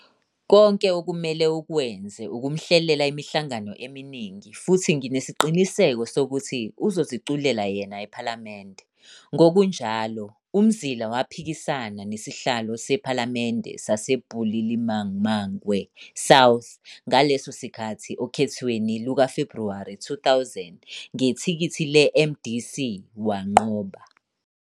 Konke okumele ukwenze ukumhlelela imihlangano eminingi futhi nginesiqiniseko sokuthi uzoziculela yena ePhalamende '. Ngokunjalo, uMzila waphikisana nesihlalo sePhalamende saseBulilimamangwe South ngaleso sikhathi okhethweni lukaFebhuwari 2000 ngethikithi le-MDC wanqoba.